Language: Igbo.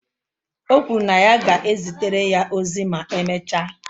O kwuru na ya ga-ezitere ya ozi ma emechaa